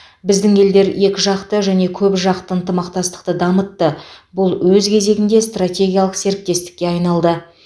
біздің елдер екіжақты және көпжақты ынтымақтастықты дамытты бұл өз кезегінде стратегиялық серіктестікке айналды